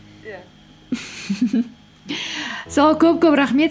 иә сол көп көп рахмет